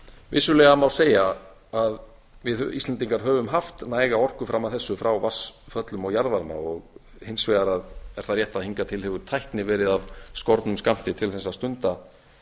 vissulega má segja að við íslendingar höfum haft næga orku fram að þessu frá vatnsföllum og jarðvarma og hins vegar er það rétt að hingað til hefur tækni verið af skornum skammti til þess að stunda